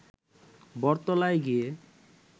বটতলায় গিয়ে